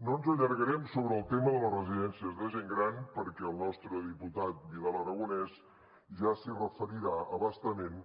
no ens allargarem sobre el tema de les residències de gent gran perquè el nostre diputat vidal aragonés ja s’hi referirà a bastament